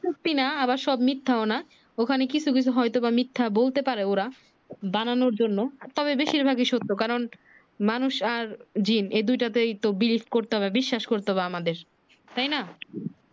সত্যি না আবার সব মিথ্যাও না ওখানে কিছু কিছু হয়তো বা মিথ্যা বলতে পারে ওরা বানানোর জন্য তবে বেশির ভাগি সত্য কারণ মানুষ আর জ্বিন এই দুই টাতে ব্রিজ করতে হবে বিশ্বাস করতে হবে আমাদের তাই না